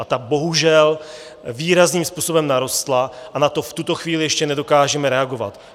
A ta bohužel výrazným způsobem narostla a na to v tuto chvíli ještě nedokážeme reagovat.